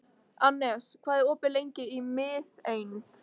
Annes, hvað er opið lengi í Miðeind?